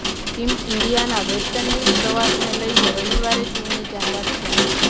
team ઈન્ડિયાના West Indies પ્રવાસને લઈ રવિવારે ટીમની જાહેરાત થશે